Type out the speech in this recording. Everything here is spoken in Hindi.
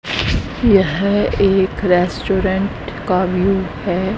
यह एक रेस्टोरेंट का व्यू है।